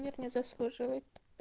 нет не заслуживает